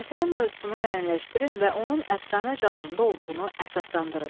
Əsərin mövzusunu müəyyənləşdirin və onun əfsanə janrında olduğunu əsaslandırın.